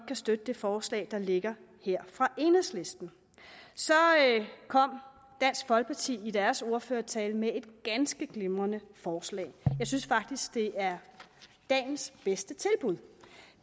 kan støtte det forslag der ligger her fra enhedslisten så kom dansk folkeparti i deres ordførertale med et ganske glimrende forslag jeg synes faktisk at det er dagens bedste tilbud